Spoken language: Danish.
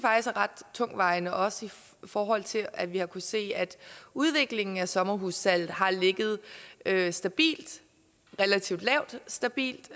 ret tungtvejende også i forhold til at vi har kunnet se at udviklingen af sommerhussalget har ligget stabilt relativt lavt stabilt